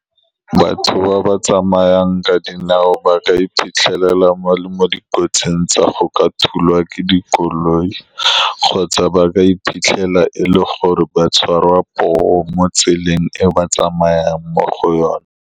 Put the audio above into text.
Batho ba ba tsamayang ka dinao ba ka iphitlhela ba le mo dikotsing tsa go ka thulwa ke dikoloi, kgotsa ba ka iphitlhela e le gore ba tshwarwa poo mo tseleng e ba tsamayang mo go yone.